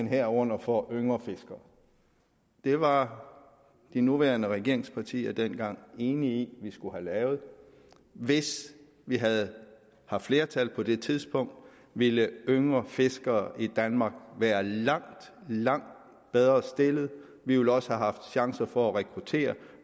herunder for yngre fiskere det var de nuværende regeringspartier dengang enige i vi skulle have lavet hvis vi havde haft flertal på det tidspunkt ville yngre fiskere i danmark være langt langt bedre stillet vi ville også have haft chancer for at rekruttere